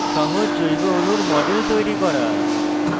সহজ জৈব অণুর models তৈরি করা